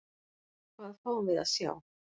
Hvað fáum við að sjá?